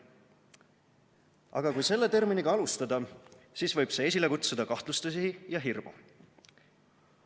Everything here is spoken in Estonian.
Aga kui selle terminiga alustada, siis võib see esile kutsuda kahtlustusi ja hirmu.